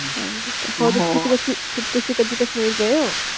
ਹਾਂਜੀ ਹਾਂ ਤੁਸੀਂ ਕਦੇ ਕਸ਼ਮੀਰ ਗਏ ਹੋ?